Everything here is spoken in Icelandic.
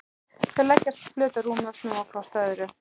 Þau leggjast flöt á rúmið og snúa hvort að öðru.